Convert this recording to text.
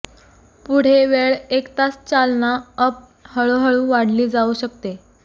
पुढे वेळ एक तास चालना अप हळूहळू वाढली जाऊ शकते